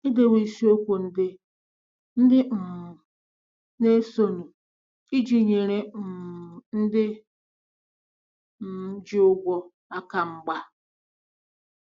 Edewo isiokwu ndị ndị um na-esonụ iji nyere um ndị um ji ụgwọ aka mgba.